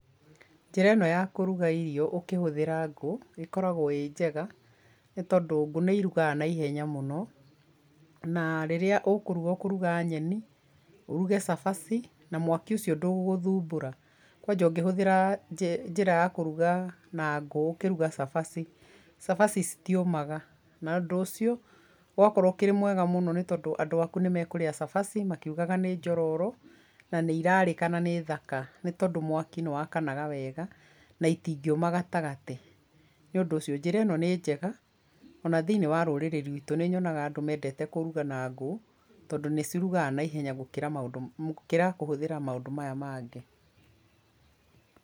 Njĩra ĩno ya kũruga irio ũkĩhũthĩra ngũ ĩkoragwo ĩ njega nĩ tondũ ngũ nĩ irugaga naihenya mũno na rĩrĩa ũkũruga ũkũruga nyeni, ũruge cabaci na mwaki ũcio ndũgũgũthumbũra, kwanja ũngĩhũthĩra njĩra ya kũruga na ngũ ũkĩruga cabaci, cabaci citiũmaga, na ũndũ ũcio ũgakorwo ũrĩ mwega mũno nĩ tondũ andũ aku nĩ makũrĩa cabaci makiugaga nĩ njororo, na nĩ irarĩka na nĩ thaka, nĩ tondũ mwaki nĩ wakanaga wega na itingĩũma gatagatĩ, nĩ ũndũ ũcio njĩra ĩno nĩ njega, ona thĩinĩ wa rũrĩrĩ rwitũ nĩ nyonaga andũ mendete kũruga na ngũ tondũ nĩ cirugaga naihenya gũkĩra maũndũ gũkĩra kũhũthĩra maũndũ maya mangĩ.